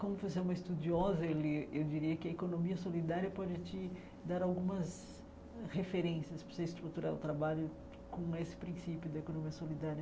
Como você é uma estudiosa, ele ele diria que a economia solidária quando ele tinha dar algumas referências para você estruturar o trabalho com esse princípio da economia solidária.